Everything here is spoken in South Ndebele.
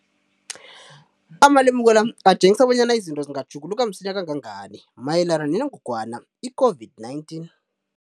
Amalemuko la atjengisa bonyana izinto zingatjhuguluka msinyana kangangani mayelana nengogwana i-COVID-19.